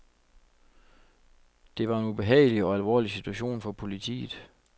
Det var en ubehagelig og alvorlig situation for politiet.